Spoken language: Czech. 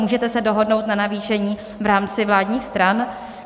Můžete se dohodnout na navýšení v rámci vládních stran?